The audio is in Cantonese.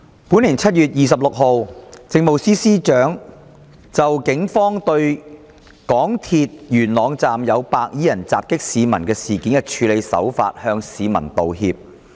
本年7月26日，政務司司長就警方對港鐵元朗站有白衣人襲擊市民事件的處理手法向市民道歉。